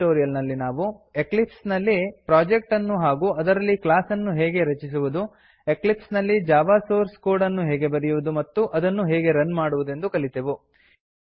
ಈ ಟ್ಯುಟೋರಿಯಲ್ ನಲ್ಲಿ ನಾವು ಎಕ್ಲಿಪ್ಸ್ ನಲ್ಲಿ ಪ್ರೊಜೆಕ್ಟ್ ಅನ್ನು ಹಾಗೂ ಅದರಲ್ಲಿ ಕ್ಲಾಸ್ ಅನ್ನು ಹೇಗೆ ರಚಿಸುವುದು ಎಕ್ಲಿಪ್ಸ್ ನಲ್ಲಿ ಜಾವಾ ಸೋರ್ಸ್ ಕೋಡ್ ಅನ್ನು ಹೇಗೆ ಬರೆಯುವುದು ಮತ್ತು ಅದನ್ನು ಹೇಗೆ ರನ್ ಮಾಡುವುದೆಂದು ಕಲಿತೆವು